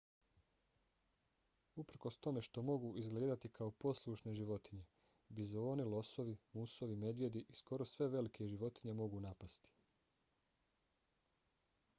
uprkos tome što mogu izgledati kao poslušne životinje bizoni losovi musovi medvjedi i skoro sve velike životinje mogu napasti